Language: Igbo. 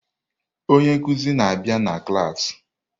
Onye nkuzi na-abịa na klas.